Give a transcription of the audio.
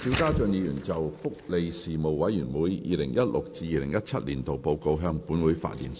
邵家臻議員就"福利事務委員會 2016-2017 年度報告"向本會發言。